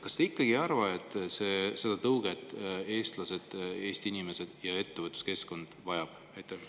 Kas te ikkagi ei arva, et Eesti inimesed ja meie ettevõtluskeskkond vajavad seda tõuget?